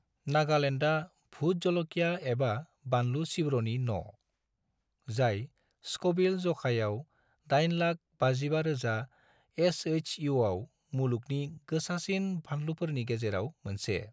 नागालैंडआ भुट ज'ल'किया एबा बानलु सिब्र'नि न', जाय स्क'विल ज'खायाव 855,000 एचएइसइउआव मुलुगनि गोसासिन फानलुफोरनि गेजेराव मोनसे।